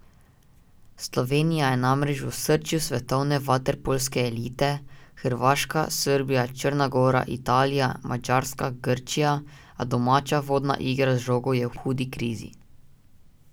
Slovenija je namreč v osrčju svetovne vaterpolske elite, Hrvaška, Srbija, Črna gora, Italija, Madžarska, Grčija, a domača vodna igra z žogo je v hudi krizi.